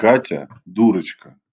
катя дурочка